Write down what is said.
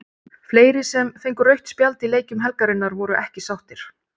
Fleiri sem fengu rautt spjald í leikjum helgarinnar voru ekki sáttir.